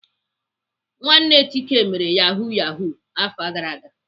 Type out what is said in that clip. Nwanne Chike mere Yahoo Yahoo afọ gara aga.